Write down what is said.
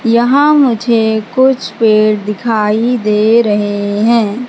यहां मुझे कुछ पेड़ दिखाई दे रहे है।